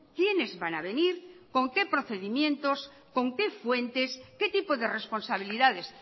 quienes van a venir con qué procedimientos con qué fuentes qué tipo de responsabilidades